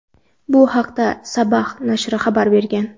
Bu haqda "Sabah" nashri xabar bergan.